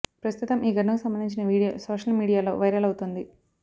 ప్రస్తుతం ఈ ఘటనకు సంబంధించిన వీడియో సోషల్ మీడియాలో వైరల్ అవుతోంది